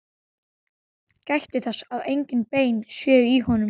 Gætið þess að engin bein séu í honum.